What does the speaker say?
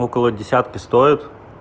около десятки стоит